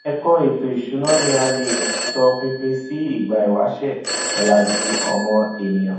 ẹkọ ètò ìsúna ní a lè tọ pinpin si ìgbà ìwáṣẹ ọlàjú ọmọ ènìyàn